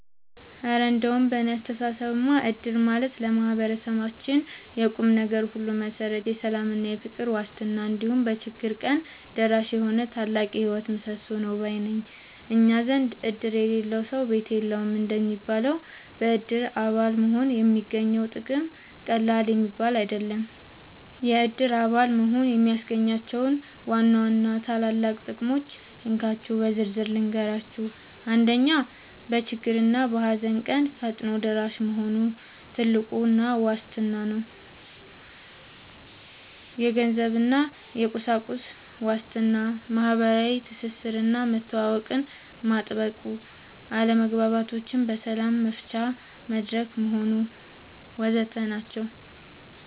እረ እንደው በእኔ አስተያየትማ እድር ማለት ለማህበረሰባችን የቁምነገር ሁሉ መሠረት፣ የሰላምና የፍቅር ዋስትና፣ እንዲሁም በችግር ቀን ደራሽ የሆነ ታላቅ የህይወት ምሰሶ ነው ባይ ነኝ! እኛ ዘንድ "እድር የሌለው ሰው ቤት የለውም" እንደሚባለው፣ በእድር አባል መሆን የሚገኘው ጥቅም ቀላል የሚባል አይደለም። የእድር አባል መሆን የሚያስገኛቸውን ዋና ዋና ታላላቅ ጥቅሞች እንካችሁ በዝርዝር ልንገራችሁ፦ 1. በችግርና በሃዘን ቀን ፈጣን ደራሽ መሆኑ (ትልቁ ዋስትና) 2. የገንዘብና የቁሳቁስ ዋስትና 3. ማህበራዊ ትስስርና መተዋወቅን ማጥበቁ 4. አለመግባባቶችን በሰላም መፍቻ መድረክ መሆኑ